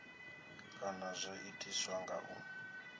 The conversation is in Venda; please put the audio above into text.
kana zwo itiswa nga u